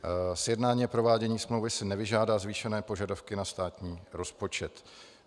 Sjednání a provádění smlouvy si nevyžádá zvýšené požadavky na státní rozpočet.